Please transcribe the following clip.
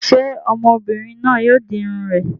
Ṣé ọmọbìnrin náà yóò di irun rẹ̀?